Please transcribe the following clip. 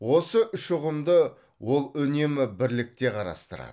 осы үш ұғымды ол үнемі бірлікте қарастырады